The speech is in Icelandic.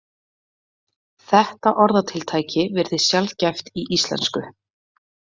Þetta orðatiltæki virðist sjaldgæft í íslensku.